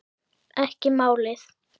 Ekki málið!